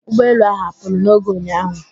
Ụgbọelu ahụ apụrụ n'oge ụnyạahụ?